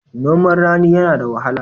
Noman rani yana da wahala.